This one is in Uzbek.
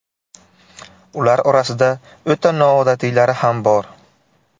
Ular orasida o‘ta noodatiylari ham bor.